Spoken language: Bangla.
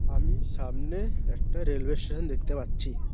আমি সামনে একটা রেলওয়ে স্টেশন দেখতে পাচ্ছি।